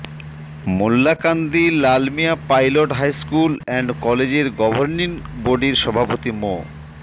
Mollakandi Lalmia pilot high school and কলেজের governing বডির সভাপতি মো